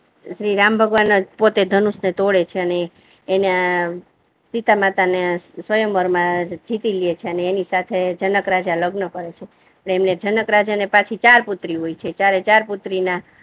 શ્રીરામ ભગવાન જ પોતે ધનુષ ને તોડે છે અને એને ને સીતામાતા ને સ્વયંવર મા જીતી લે છે. એને ની સાથે જનક રાજા લગ્ન કરે છે. એને જનક રાજા ને પછી ચાર પુત્રીઓ હોય છે ચારે ચાર પુત્રી ના